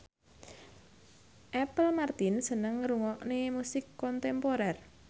Apple Martin seneng ngrungokne musik kontemporer